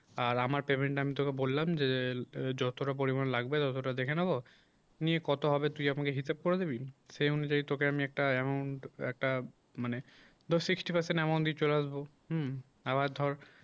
আর আমার payment আমি তোকে বললাম যে যতটা পরিমাণ লাগবে ততটা দেখে নেব নিয়ে কথা হবে তুই আমাকে হিসাব করে দিবি সে অনুযায়ী তোকে আমি একটা amount একটা মানে ধর sixty present amount দিয়ে চলে আসবো আবার ধর